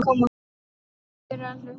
Takk fyrir að hlusta.